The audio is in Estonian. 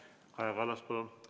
Kaja Kallas, palun!